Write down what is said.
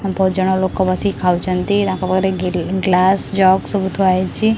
ବୋହୁତ ଜଣ ଲୋକ ବସିକି ଖାଚଛନ୍ତି ତାଙ୍କ ପାଖରେ ଗିରି ଗ୍ଲାସ ଜଗ୍ ସବୁ ଥୁଆ ହେଇଚି।